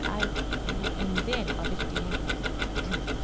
Det er jo en del av virkeligheten.